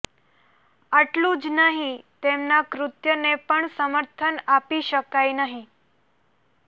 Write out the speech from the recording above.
આટલું જ નહીં તેમના કૃત્યને પણ સમર્થન આપી શકાય નહીં